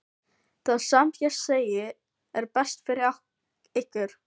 Það sem ég segi er best fyrir ykkur.